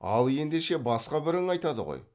ал ендеше басқа бірің айтады ғой